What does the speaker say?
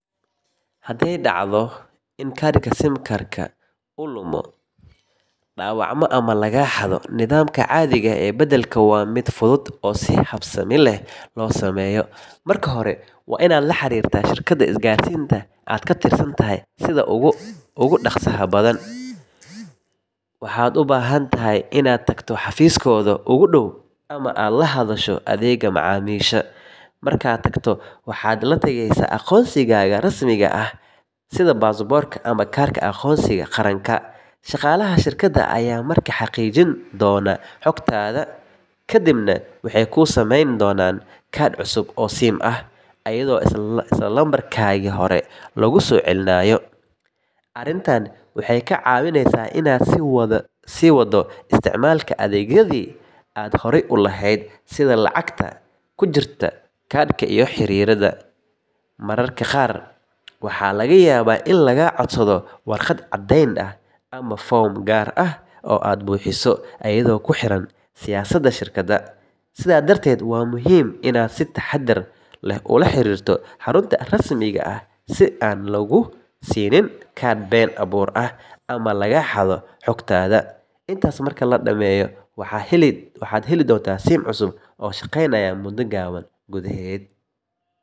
Hadday dhacdo in kaadhka SIM-kaaga uu lumo, dhaawacmo ama lagaa xado, nidaamka caadiga ah ee beddelka waa mid fudud oo si habsami leh loo sameeyo. Marka hore, waa inaad la xiriirtaa shirkadda isgaarsiinta aad ka tirsan tahay sida ugu dhaqsaha badan. Waxaad u baahan tahay inaad tagto xafiiskooda ugu dhow ama aad la hadasho adeegga macaamiisha. Markaad tagto, waxaad la tagaysaa aqoonsigaaga rasmiga ah sida baasaboorka ama kaarka aqoonsiga qaranka. Shaqaalaha shirkadda ayaa markaa xaqiijin doona xogtaada, kadibna waxay kuu samayn doonaan kaadh cusub oo SIM ah, iyadoo isla lambarkaagii hore lagu soo celinayo. Arrintan waxay kaa caawinaysaa inaad sii waddo isticmaalka adeegyadii aad horay u lahayd, sida lacagta ku jirta kaadhka iyo xiriirrada. Mararka qaar, waxaa laga yaabaa in lagaa codsado warqad caddeyn ah ama foom gaar ah oo aad buuxiso, iyadoo ku xiran siyaasadda shirkadda. Sidaa darteed, waa muhiim inaad si taxadar leh ula xiriirto xarunta rasmiga ah si aan laguu siinin kaadh been abuur ah ama lagaa xado xogtaada. Intaas marka la dhameeyo, waxaad heli doontaa SIM cusub oo shaqaynaysa muddo gaaban gudaheed.